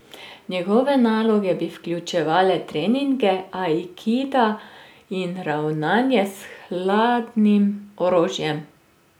Njegove naloge bi vključevale treninge aikida in ravnanja s hladnem orožjem.